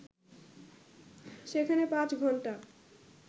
সেখানে পাঁচ ঘন্টা